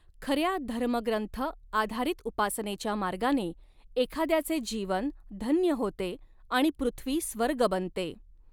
खऱ्या धर्मग्रंथ आधारित उपासनेच्या मार्गाने, एखाद्याचे जीवन धन्य होते आणि पृथ्वी स्वर्ग बनते.